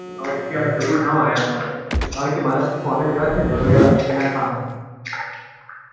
અવાજ નઈ આવતો એવું ના હોય કારણ કે માર phone છે એવા બગડેલા એના કારણે